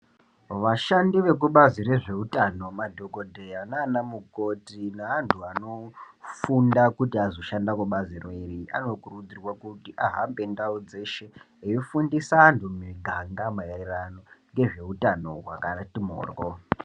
Vashandi vekubazi rezvehutano madhokoteya nana mukoti neantu anofunda kuti azoshanda kubaziroiri anokurudzirwa ahambe ndau dzeshe eifundisa antu mumiganga maererano ngezvehutano wakati mhoryo.